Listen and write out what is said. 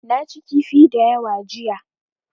Na ci kifi da yawa jiya.